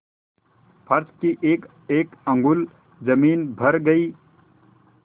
फर्श की एकएक अंगुल जमीन भर गयी